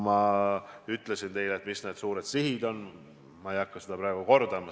Ma ütlesin teile, mis need suured sihid on, ma ei hakka seda praegu kordama.